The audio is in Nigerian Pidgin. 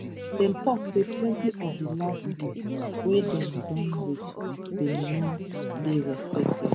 dem tok say plenti of di last deals wey dem don reach bin no dey respected